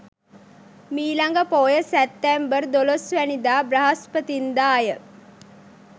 මිළඟ පෝය සැප්තැම්බර් 12 වැනිදා බ්‍රහස්පතින්දා ය.